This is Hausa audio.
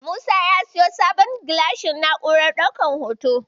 Musa ya siyo sabon gilashin na'urar ɗaukan hoto.